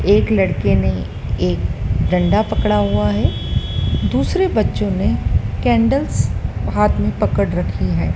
एक लड़के ने एक डंडा पकड़ा हुआ है दूसरे बच्चों ने कैंडल्स हाथ में पकड़ रखी है।